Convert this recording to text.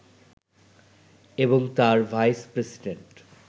এবং তার ভাইস-প্রেসিডেন্ট